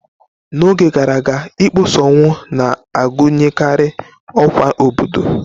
N'oge gara aga, ịkpọsa ọnwụ na-agụnyekarị ọkwa obodo.